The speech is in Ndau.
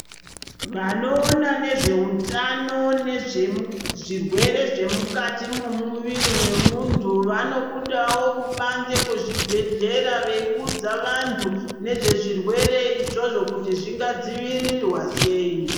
Vanoona nezvehutano nezve zvirwere zvemukati memuviri vemunhu vanobudaqo kibanze kwezvibhedhlera veiuzza vantu nezverwere izvozvo kuti zvingadziwirirwa sei.